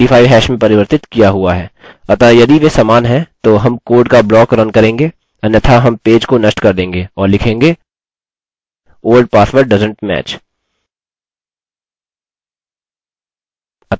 अतः यदि वे समान हैं तो हम कोड का ब्लॉक रन करेंगे अन्यथा हम पेज को नष्ट कर देंगे और लिखेंगे old password doesnt match!